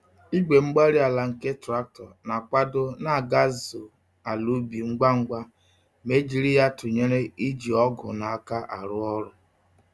Igwe-mgbárí-ala nke traktọ na-akwado nagazu àlà ubi ngwa ngwa ma e jiri ya tụnyere iji ọgụ n'aka arụ ọrụ.